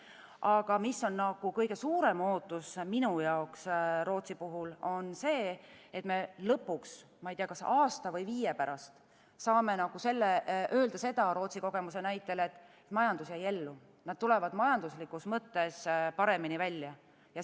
Minu jaoks on Rootsi puhul kõige suurem ootus see, et me lõpuks – ma ei tea, kas aasta või viie pärast – saame öelda Rootsi kogemuse näitel, et majandus jäi ellu, nad tulevad majanduslikus mõttes paremini välja.